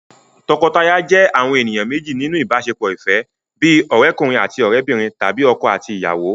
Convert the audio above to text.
Tọkọtaya jẹ́ àwọn ènìyàn méjì nínú ìbáṣepọ̀ ìfẹ́, bíi ọ̀rẹ́'kùnrin àti òrẹ́'bìnrin tàbí ọkọ àti ìyàwó